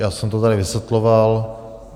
Já jsem to tady vysvětloval.